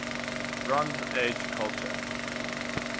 bronze age culture